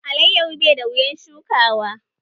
Alayyaho bai da wuyan shukawa